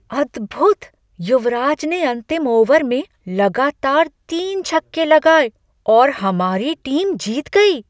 अद्भुत! युवराज ने अंतिम ओवर में लगातार तीन छक्के लगाए और हमारी टीम जीत गई।